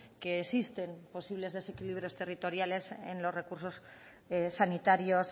que existen posibles desequilibrios territoriales en los recursos sanitarios